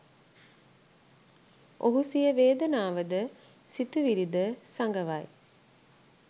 ඔහු සිය වේදනාව ද සිතුවිලි ද සඟවයි.